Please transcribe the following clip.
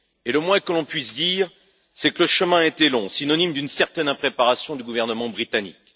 Le moins que l'on puisse dire, c'est que le chemin a été long, synonyme d'une certaine impréparation du gouvernement britannique.